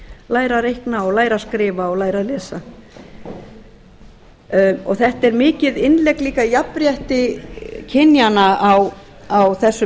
læra að reikna læra að skrifa og læra að lesa þetta er mikið innlegg líka í jafnrétti kynjanna á þessum